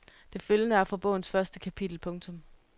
Det følgende er fra bogens første kapitel. punktum